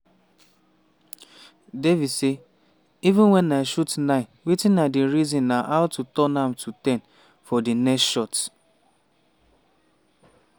devi say "even wen i shoot nine wetin i dey reason na how to turn am to ten for di next shot."